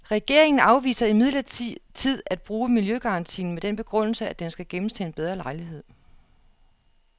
Regeringen afviser imidlertid at bruge miljøgarantien med den begrundelse, at den skal gemmes til en bedre lejlighed.